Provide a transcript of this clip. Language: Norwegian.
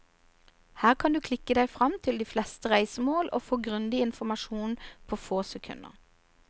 Her kan du klikke deg frem til de fleste reisemål og få grundig informasjon på få sekunder.